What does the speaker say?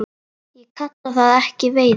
Ég kalla það ekki veiði.